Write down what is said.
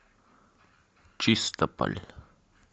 чистополь